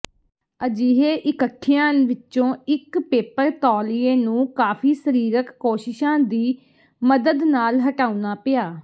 ਅਜਿਹੇ ਇਕਠਿਆਂ ਵਿਚੋਂ ਇਕ ਪੇਪਰ ਤੌਲੀਏ ਨੂੰ ਕਾਫੀ ਸਰੀਰਕ ਕੋਸ਼ਿਸ਼ਾਂ ਦੀ ਮਦਦ ਨਾਲ ਹਟਾਉਣਾ ਪਿਆ